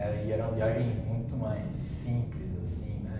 É e eram viagens muito mais simples, assim, né?